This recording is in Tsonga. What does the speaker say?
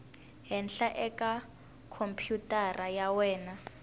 henhla eka khompyutara ya wena